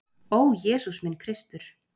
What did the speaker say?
Ó, Jesús minn Kristur!